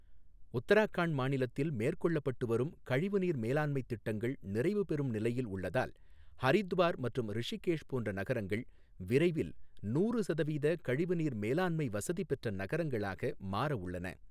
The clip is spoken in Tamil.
உத்தரகாண்ட் மாநிலத்தில் மேற்கொள்ளப்பட்டுவரும் கழிவுநீர் மேலாண்மைத் திட்டங்கள் நிறைவு பெறும் நிலையில் உள்ளதால், ஹரித்வார் மற்றும் ரிஷிகேஷ் போன்ற நகரங்கள் விரைவில் நூறு சதவீதக் கழிவுநீர் மேலாண்மை வசதி பெற்ற நகரங்களாக மாறஉள்ளன.